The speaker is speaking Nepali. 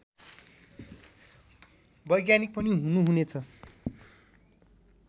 वैज्ञानिक पनि हुनुहुनेछ